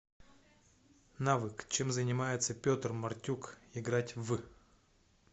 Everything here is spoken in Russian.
навык чем занимается петр мартюк играть в